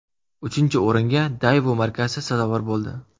Uchinchi o‘ringa Daewoo markasi sazovor bo‘ldi.